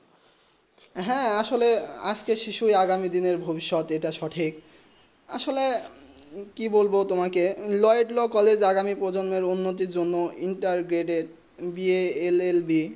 হেঁ আসলে আজকে শিশু আগামী দিনে ভভিস্ট এইটা সঠিক আসলে কি বলবো তোমাকে লো ল এ কলেজ আগামী প্রজন উন্নতি জন্য ইন্টারগ্রাডে বা এ এল এল বি